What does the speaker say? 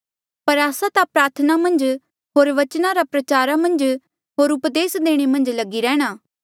पर आस्सा ता प्रार्थना मन्झ होर बचन रा प्रचार होर उपदेस देणा मन्झ लगी रहणा